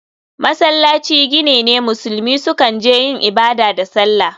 Masallaci gini ne musulmi sukan je yin ibada da sallah.